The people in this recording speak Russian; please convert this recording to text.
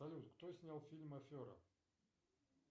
салют кто снял фильм афера